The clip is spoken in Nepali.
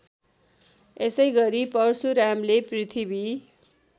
यसैगरी परशुरामले पृथ्वी